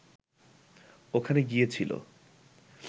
ওখানে গিয়েছিল